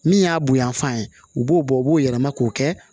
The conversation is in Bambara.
Min y'a bonyanfan ye u b'o bɔ u b'o yɛlɛma k'o kɛ